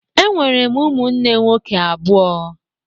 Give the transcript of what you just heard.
Enwere m ụmụnne nwoke abụọ